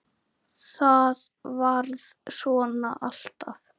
Örn: Hvað drekka kettir?